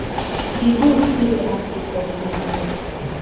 di group still dey active for di area